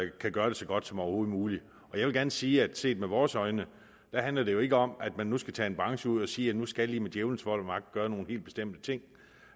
kan gøre det så godt som overhovedet muligt jeg vil gerne sige at set med vores øjne handler det jo ikke om at man nu skal tage en branche ud og sige at nu skal i med djævelens vold og magt gøre nogle helt bestemte ting